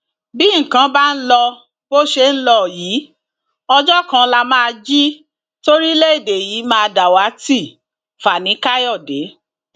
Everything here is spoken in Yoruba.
bí nǹkan bá ń lọ bó ṣe ń lọ yìí ọjọ kan lá máa jí toríléèdè yìí máa dàwátì fani kanode